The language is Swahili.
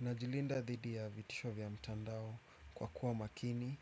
Najilinda dhidi ya vitisho vya mtandao kwa kuwa makini,